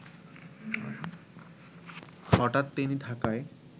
হঠাৎ তিনি ঢাকায়